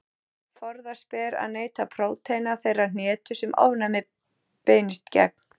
Forðast ber að neyta prótína þeirrar hnetu sem ofnæmið beinist gegn.